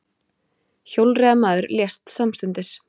Hjólreiðamaður lést samstundis